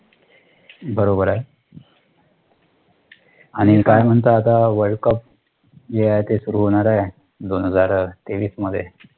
बरोबर आहे आणि काय म्हणता आता world cup सुरु होणार आहे दोन हजार तेवीस मध्ये